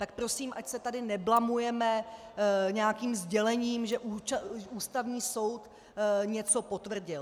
Tak prosím, ať se tady neblamujeme nějakým sdělením, že Ústavní soud něco potvrdil.